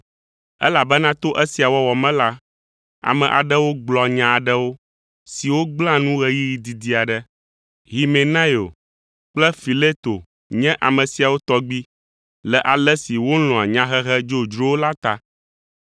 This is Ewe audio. Elabena to esia wɔwɔ me la, ame aɖewo gblɔa nya aɖewo, siwo gblẽa nu ɣeyiɣi didi aɖe. Himenaio kple Fileto nye ame siawo tɔgbi le ale si wolɔ̃a nyahehe dzodzrowo la ta.